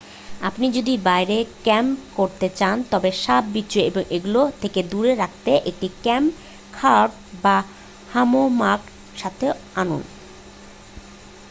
আপনি যদি বাইরে ক্যাম্প করতে চান তবে সাপ বিচ্ছু এবং এগুলো থেকে দূরে রাখতে একটি ক্যাম্প খাট বা হামোমাক সাথে আনুন